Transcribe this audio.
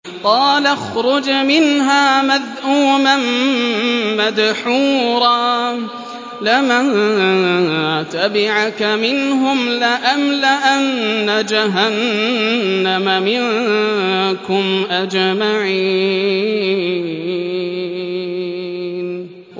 قَالَ اخْرُجْ مِنْهَا مَذْءُومًا مَّدْحُورًا ۖ لَّمَن تَبِعَكَ مِنْهُمْ لَأَمْلَأَنَّ جَهَنَّمَ مِنكُمْ أَجْمَعِينَ